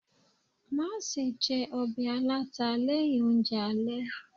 Mase je obe alata leyin ounje ale